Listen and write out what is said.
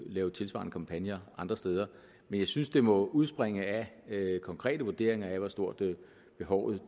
lave tilsvarende kampagner andre steder men jeg synes det må udspringe af konkrete vurderinger af hvor stort behovet